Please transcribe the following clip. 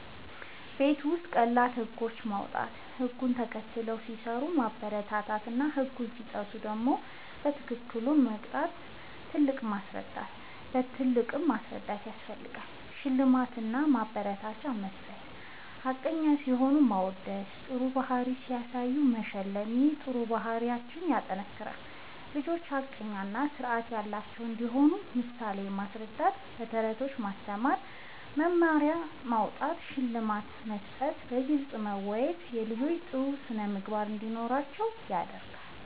ቤት ውስጥ ቀላል ህጎች ማዉጣት፣ ህግ ተከትለው ሲሰሩ ማበረታታትና ህግ ሲጥሱ በትክክል ከመቅጣት ይልቅ ማስረዳት ፬. ሽልማት እና ማበረታቻ መስጠት፦ ሐቀኛ ሲሆኑ ማወደስና ጥሩ ባህሪ ሲያሳዩ መሸለም ይህ ጥሩ ባህሪን ያጠናክራል። ልጆች ሐቀኛ እና ስርዓት ያላቸው እንዲሆኑ በምሳሌ ማስረዳት፣ በተረቶች ማስተማር፣ መመሪያ ማዉጣት፣ ሽልማት መስጠትና በግልጽ ማወያየት ልጆች ጥሩ ስነ ምግባር እንዲኖራቸዉ ያደርጋል